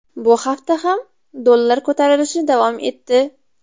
Bu hafta ham dollar ko‘tarilishi davom etdi.